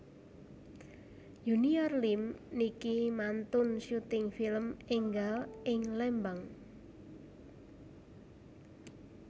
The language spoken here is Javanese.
Junior Liem niki mantun syuting film enggal ing Lembang